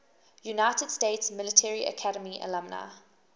united states military academy alumni